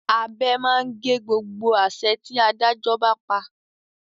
Abẹ máa ń gé gbogbo àṣẹ tí Adájọ́ bá pa